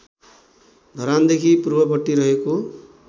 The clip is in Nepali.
धरानदेखि पूर्वपट्टि रहेको